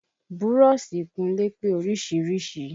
Búrọ́ṣì ìkúnlé pé oríṣiríṣi